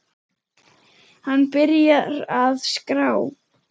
Hann byrjar að skrá.